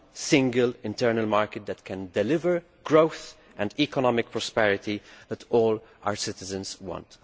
single internal market that can deliver the growth and economic prosperity that all our citizens want.